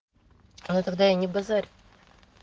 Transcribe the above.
ну тогда я не базарь